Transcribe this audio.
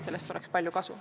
Sellest oleks palju kasu.